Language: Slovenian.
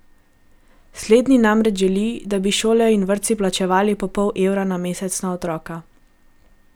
Slednji namreč želi, da bi šole in vrtci plačevali po pol evra na mesec na otroka.